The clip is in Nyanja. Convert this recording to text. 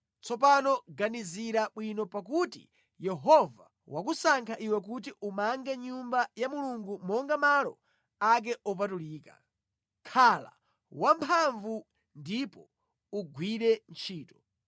Tsopano ganizira bwino, pakuti Yehova wakusankha iwe kuti umange Nyumba ya Mulungu monga malo ake opatulika. Khala wamphamvu ndipo ugwire ntchito.”